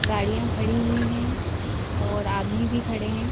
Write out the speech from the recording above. गाड़ियां खड़ी हुई हैं और आदमी भी खड़े हैं.